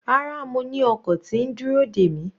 Rárá, mo ni ọkọ̀ tí ń dúró dè mi.